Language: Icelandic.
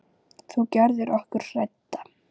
Þú gerðir okkur hrædda.